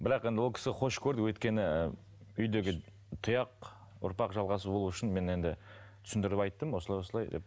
бірақ енді ол кісі қош көрді өйткені ыыы үйдегі тұяқ ұрпақ жалғасы болуы үшін мен енді түсіндіріп айттым осылай осылай деп